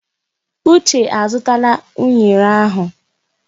Uche azụtala unere ahụ.